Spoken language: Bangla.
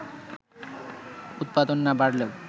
উৎপাদন না বাড়লেও